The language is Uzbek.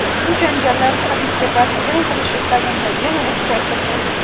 Bu janjallar Habibga qarshi jang qilish istagimni yanada kuchaytirdi.